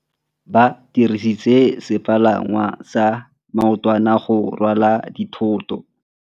Ba dirisitse sepalangwasa maotwana go rwala dithôtô.